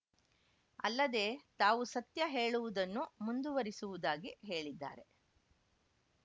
ಅಲ್ಲದೇ ತಾವು ಸತ್ಯ ಹೇಳುವುದನ್ನು ಮುಂದುವರಿಸುವುದಾಗಿ ಹೇಳಿದ್ದಾರೆ